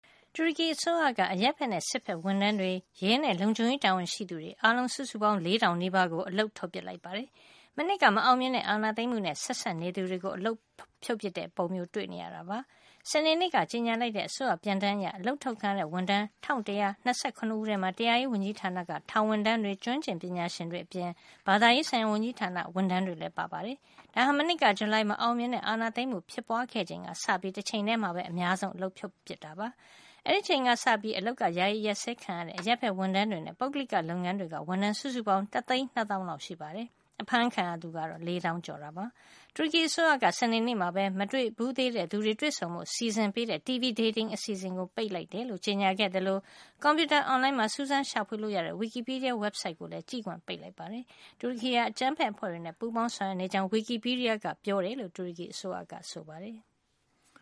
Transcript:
တူရကီအစိုးရက အရပ်ဖက်နဲ့ စစ်ဖက် ဝန်ထမ်းတွေ၊ ရဲနဲ့ လုံခြုံရေး တာဝန်ရှိသူတွေ အားလုံး စုစုပေါင်း လေးထောင်နီးပါးကို အလုပ်ထုတ်ပစ် လိုက်ပါတယ်။ မနှစ်က မအောင်မြင်တဲ့ အာဏာသိမ်းမှုနဲ့ ဆက်စပ် နေသူတွေကို အလုပ်ဖြုတ်ပစ်တဲ့ ပုံမျိုး တွေ့နေရပါတယ်။ စနေနေ့က ကြေညာလိုက်တဲ့ အစိုးရပြန်တမ်း အရ အလုပ်ထုတ်ခံရတဲ့ ဝန်ထမ်း ၁၁၂၇ ဦးထဲမှာ တရားရေး ဝန်ကြီးဌာနက ထောင်ဝန်ထမ်း တွေနဲ့ ကျွမ်းကျင် ပညာရှင်တွေအပြင် ဘာသာရေး ဆိုင်ရာ ဝန်ကြီးဌာန ဝန်ထမ်းတွေလည်း ပါဝင်ပါတယ်။ ဒါဟာ မနှစ်က ဇူလိုင်လ မအောင်မြင်တဲ့ အာဏာသိမ်းမှု ဖြစ်ပွါးခဲ့ချိန်က စပြီး တချိန်ထဲ အများဆုံး အလုပ်ထုတ်ပစ်တဲ့ အနေထားပါ။ အဲဒီအချိန်ကစပြီး အလုပ်က ယာယီ အရပ်စဲခံရတဲ့ အရပ်ဖက် ဝန်ထမ်းတွေနဲ့ ပုဂ္ဂလိက လုပ်ငန်းတွေက ဝန်ထမ်း စုစုပေါင်းက တသိန်း နှစ်သောင်းလောက် ရှိပါတယ်။ အဖမ်းခံရသူကတော့ လေးသောင်းကျော်ပါတယ်။ တူရကီ အစိုးရက စနေနေ့မှာပဲ မတွေ့ဘူးသေးသူတွေ တွေ့ဆုံဖို့ စီစဉ်ပေးတဲ့ TV dating အစီအစဉ် တွေကို ပိတ်ပင်လိုက်ကြောင်း ကြေညာခဲ့သလို ကွန်ပြူတာ အွန်လိုင်းမှာ စူးစမ်း ရှာဖွေလို့ ရတဲ့ Wikipedia ဝက်ဘ်ဆိုက်ကိုလည်း ကြည့်ခွင့် ပိတ်လိုက်ပါတယ်။ တူရကီဟာ အကြမ်းဖက် အဖွဲ့တွေနဲ့ ပူးပေါင်းဆောင်ရွက် နေကြောင်း Wikipedia က ပြောတယ်လို့ တူရကီအစိုးရက ဆိုပါတယ်။